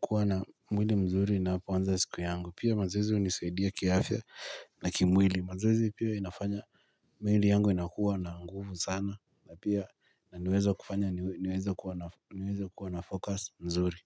kuwa na mwili mzuri napoanza siku yangu pia mazoezi hunisaidia kiafya na kimwili mazoezi pia inafanya. Mwili yangu inakuwa na nguvu sana. Pia na niweze kuwa na focus mzuri.